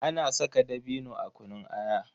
Ana saka dabino a kunun aya.